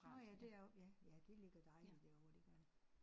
Nåh ja det er jo ja ja det ligger dejligt derovre det gør det